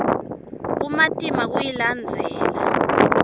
kumatima kuyilandzela